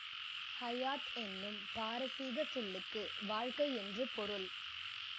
ஹையாத் எனும் பாரசீகச் சொல்லுக்கு வாழ்க்கை என்று பொருள்